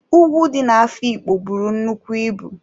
Ùgwù dị na-Afikpo buru nnukwu ịbụ.